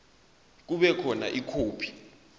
kube khona ikhophi